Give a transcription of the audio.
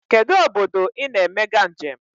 Kedụ obodo I na-emega njem?